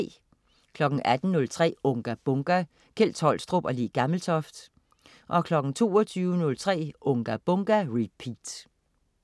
18.03 Unga Bunga! Kjeld Tolstrup og Le Gammeltoft 22.03 Unga Bunga! Repeat